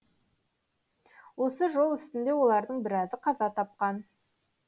осы жол үстінде олардың біразы қаза тапқан